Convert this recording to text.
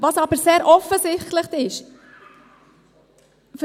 Was aber sehr offensichtlich ist: